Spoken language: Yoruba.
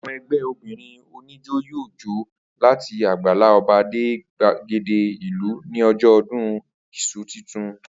Àwo̩n e̩gbé̩ obìnrin oníjó yóò jó láti àgbàlá o̩ba dé gbàgede ìlú ní o̩jó̩ o̩dún is̩u titun